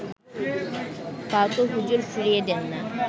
কাউকে হুজুর ফিরিয়ে দেন না